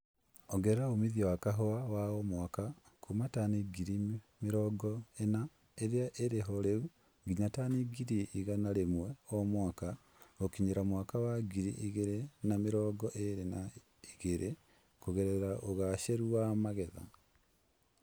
Ongerera umithio wa kahũa wa o mwaka kuuma tani ngiri mĩrongo ĩna irĩa irĩho rĩu nginya tani ngiri igana rĩmwe o mwaka gũkinyĩria mwaka wa ngiri igĩrĩ na mĩrongo ĩrĩ na igĩrĩ kũgerera ũgacĩru wa magetha